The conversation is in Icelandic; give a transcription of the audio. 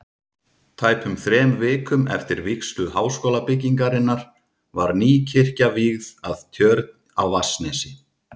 Tæpum þrem vikum eftir vígslu Háskólabyggingarinnar var ný kirkja vígð að Tjörn á Vatnsnesi.